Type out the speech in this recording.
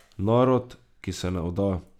Narod, ki se ne vda.